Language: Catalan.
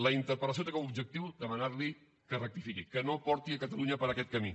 la interpel·lació té com a objectiu demanar li que rectifiqui que no porti catalunya per aquest camí